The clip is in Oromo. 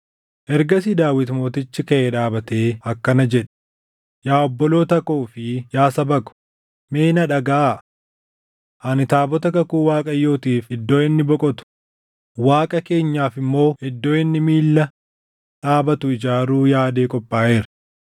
Ergasii Daawit Mootichi kaʼee dhaabatee akkana jedhe: “Yaa obboloota koo fi yaa saba ko, mee na dhagaʼaa. Ani taabota kakuu Waaqayyootiif iddoo inni boqotu, Waaqa keenyaaf immoo iddoo inni miilla dhaabatu ijaaruu yaadee qophaaʼeera.